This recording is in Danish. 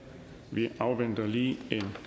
vi afventer lige